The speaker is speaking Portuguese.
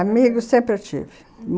Amigos sempre eu tive.